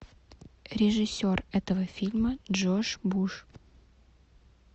режиссер этого фильма джош буш